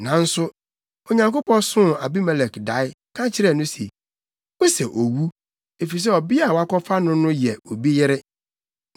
Nanso Onyankopɔn soo Abimelek dae, ka kyerɛɛ no se, “Wosɛ owu, efisɛ ɔbea a woakɔfa no no yɛ obi yere.”